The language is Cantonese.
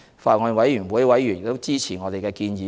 法案委員會委員亦支持我們的建議。